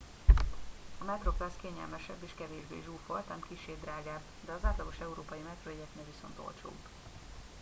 a metroplus kényelmesebb és kevésbé zsúfolt ám kissé drágább de az átlagos európai metrójegyeknél viszont olcsóbb